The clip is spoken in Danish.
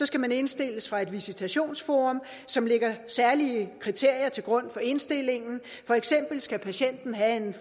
skal man indstilles af et visitationsforum som lægger særlige kriterier til grund for indstillingen for eksempel skal patienten have